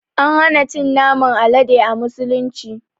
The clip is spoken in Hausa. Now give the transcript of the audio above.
An hana cin naman Alade a musulunci.